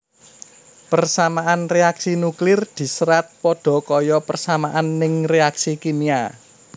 Persamaan reaksi nuklir diserat padha kaya persamaan ning reaksi kimia